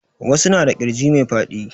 Wasu na da ƙirji mai faɗi